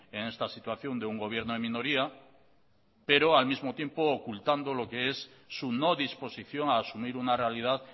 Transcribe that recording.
en esta situación de un gobierno en minoría pero al mismo tiempo ocultando lo que es su no disposición a asumir una realidad